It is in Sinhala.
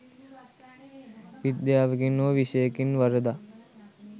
විද්‍යාවකින් හෝ විෂයකින් වරදක්